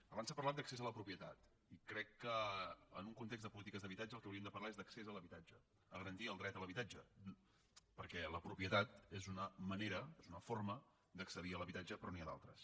abans s’ha parlat d’accés a la propietat i crec que en un context de polítiques d’habitatge del que hauríem de parlar és d’accés a l’habitatge de garantir el dret a l’habitatge perquè la propietat és una manera és una forma d’accedir a l’habitatge però n’hi ha d’altres